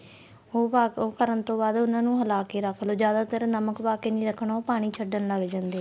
ਉਹ ਪਾ ਉਹ ਕਰਨ ਤੋਂ ਬਾਅਦ ਉਨ੍ਹਾਂ ਨੂੰ ਹਲਾ ਕੇ ਰੱਖ ਲੋ ਜਿਆਦਾ ਤਰ ਨਮਕ ਪਾ ਕੇ ਨੀਂ ਰੱਖਣਾ ਉਹ ਪਾਣੀ ਛੱਡਣ ਲੱਗ ਜਾਂਦੇ ਏ